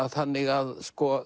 þannig að